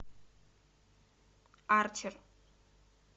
арчер